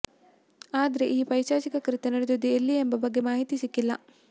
ಆದ್ರೆ ಈ ಪೈಶಾಚಿಕ ಕೃತ್ಯ ನಡೆದಿದ್ದು ಎಲ್ಲಿ ಎಂಬ ಬಗ್ಗೆ ಮಾಹಿತಿ ಸಿಕ್ಕಿಲ್ಲ